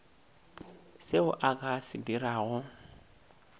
seo a ka se dirago